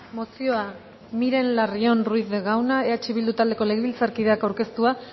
mozioa miren larrion ruiz de gauna eh bildu taldeko legebiltzarkideak aurkeztua